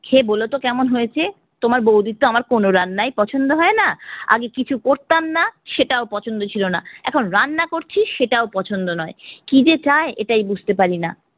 খেয়ে বলতো কেমন হয়েছে? তোমার বৌদির তো আমার কোনো রান্নাই পছন্দ হয়না। আগে কিছু করতাম না সেটাও পছন্দ ছিলোনা, এখন রান্না করছি সেটাও পছন্দ নয়, কি যে চাই এটাই বুঝতে পারিনা।